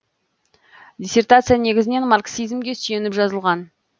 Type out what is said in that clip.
диссертация негізінен марксизмге сүйеніп жазылған